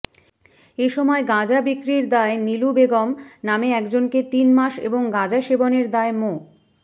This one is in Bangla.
এসময় গাঁজা বিক্রির দায়ে নীলু বেগম নামে একজনকে তিন মাস এবং গাঁজা সেবনের দায়ে মো